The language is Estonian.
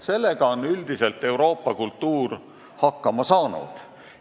Sellega on Euroopa kultuur üldiselt hakkama saanud.